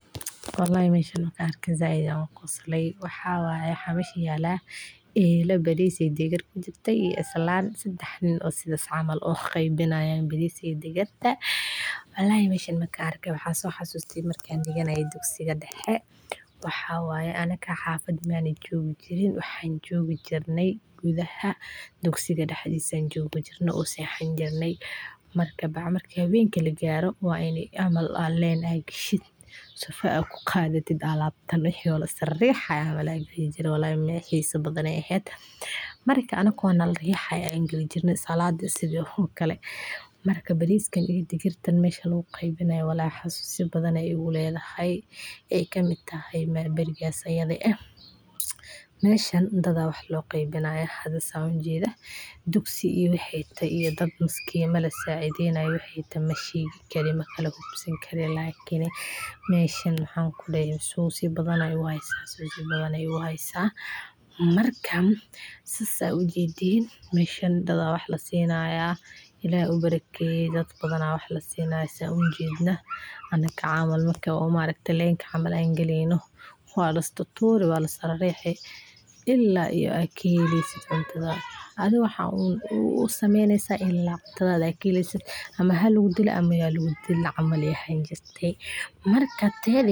Barnaamijka Quudinta Iskuulka waa barnaamij muhiim ah oo loo sameeyey ardayda dugsiyada si ay u helaan cunto nafaqo leh oo ay ku kordhiyaan awooddooda maskaxeed iyo jirkooda, kaas oo si weyn uga caawiya dhibaatooyinka nafaqo-yarida iyo macaluulinta, isla markaana u horseedaya inay si joogto ah uga qayb qaataan waxbarashada, sidaas darteedna ay yareeyaan fursadaha iskuulka ka tagida iyagoo aan dhammaystirin waxbarashadooda, barnaamijkan waxaa inta badan gacanta ku hayaan hay'adaha caalamiga ah iyo dawladda oo iskaashanaya si ay u dhiirrigeliyaan horumarka waxbarashooyinka iyo mustaqbalka shaqooyinka.